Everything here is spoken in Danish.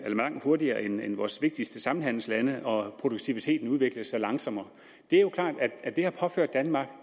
langt hurtigere end i vores vigtigste samhandelslande og produktiviteten udviklede sig langsommere det er jo klart at det har påført danmark